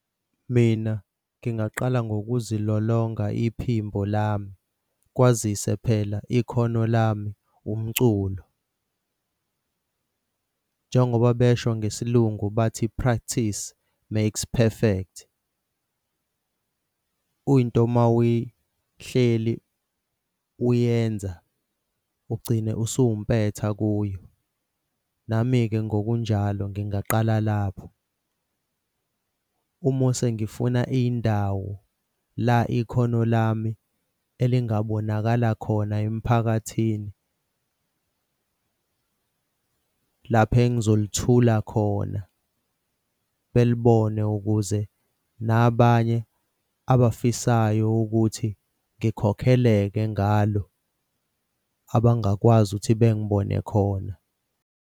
Mina ngingaqala ngokuzilolonga iphimbo lami, kwazise phela ikhono lami umculo njengoba besho ngesiLungu bathi practice makes perfect. Into mawuyihleli uyenza ugcine usuwumpetha kuyo. Nami-ke ngokunjalo ngingaqala lapho. Umose ngifuna indawo la ikhono lami elingabonakala khona emphakathini lapha engizolithula khona belibone ukuze nabanye abafisayo ukuthi ngikhokheleke ngalo abangakwazi ukuthi bengibone khona.